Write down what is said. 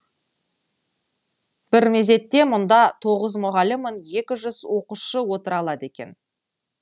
бір мезетте мұнда тоғыз мұғалім мен екі жүз оқушы отыра алады екен